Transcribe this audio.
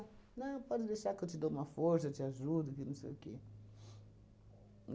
Não, pode deixar que eu te dou uma força, eu te ajudo, que não sei o quê.